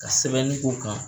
Ka sɛbɛnni k'u kan.